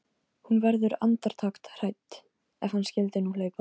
Hún verður andartak hrædd: Ef hann skyldi nú hlaupa.